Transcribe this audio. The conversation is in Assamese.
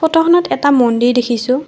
ফটোখনত এটা মন্দিৰ দেখিছোঁ।